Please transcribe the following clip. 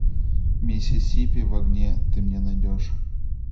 миссисипи в огне ты мне найдешь